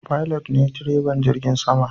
Pilot ne direban jirgin sama.